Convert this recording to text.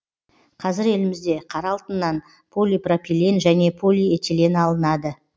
қазір елімізде қара алтыннан полипропилен және полиэтилен алынады